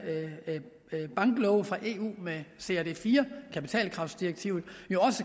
banklove fra eu med crd iv kapitalkravsdirektivet